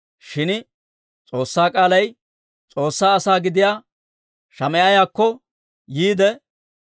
Shin S'oossaa k'aalay, S'oossaa asaa gidiyaa Shamaa'iyaakko yiide,